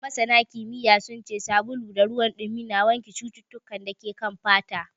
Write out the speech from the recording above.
Scientifically, soap and water wash germs from the skin.